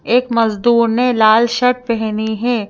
एक मजदूर ने लाल शर्ट पहनी है।